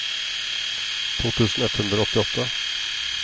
to tusen ett hundre og åttiåtte